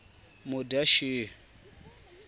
madyaxihi